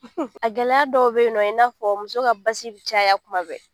A gɛlɛya dɔw bɛ yen nɔ i n'a fɔ muso ka basi bɛ caya kuma bɛɛ.